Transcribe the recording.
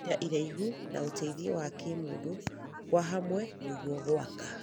ihinda iraihu na ũteithio wa kĩmũndũ kwa hamwe nĩguo gũaka